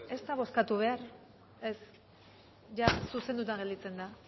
ez da bozkatu behar ez zuzenduta gelditzen da